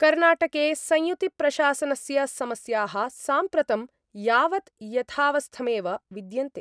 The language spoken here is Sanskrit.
कर्णाटके संयुतिप्रशासनस्य समस्याः साम्प्रतं यावत् यथावस्थमेव विद्यन्ते।